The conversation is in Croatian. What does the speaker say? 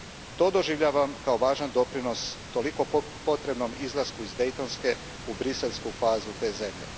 To doživljavam kao važan doprinos toliko potrebnom izlasku iz dejtonske u briselsku fazu te zemlje.